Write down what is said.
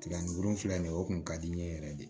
Tiga ni gundo filɛ nin ye o kun ka di n ye yɛrɛ de